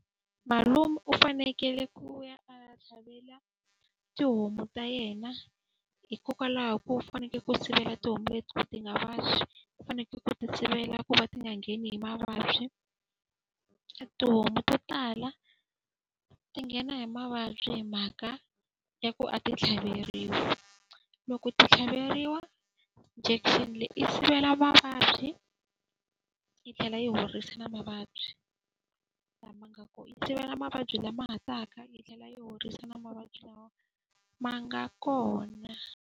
Malume u fanekele ku ya a tlhavela tihomu ta yena, hikokwalaho ko u fanekele ku sivela tihomu leti ti nga vabyi. U fanekele ku ti sivela ku va ti nga ngheni hi mavabyi. Tihomu to tala ti nghena hi mavabyi hi mhaka ya ku a ti tlhaveriwile. Loko ti tlhaveriwa injection leyi yi sivela va mavabyi yi tlhela yi horisa na mavabyi lama nga kona. Yi sivela mavabyi lama nga ha taka yi tlhela yi horisa na mavabyi lama ma nga kona.